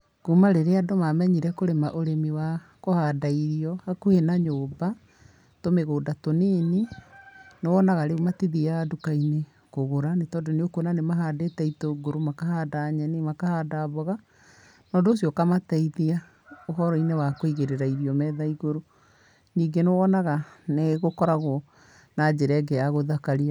Kuuma rĩrĩa andũ mamenyire kũrĩma ũrĩmi wa kũhanda irio hakuhĩ na nyũmba, tũmĩgũnda tũnini, nĩwonaga rĩu matithiaga nduka-inĩ kũgũra nĩtondũ nĩũkuona nĩ mahandĩte itũngũrũ, makahanda nyeni, makahanda mboga. Na ũndũ ũcio ũkamateithia ũhoro-inĩ wa kũigĩrĩra irio metha igũrũ. Ningĩ nĩwonaga nĩgũkoragwo na njĩra ĩngĩ ya gũthakaria.